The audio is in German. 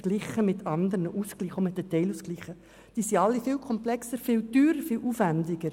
Verglichen zu den Stundeneinheiten sind die anderen Ausgleiche alle viel komplexer, teurer und aufwendiger.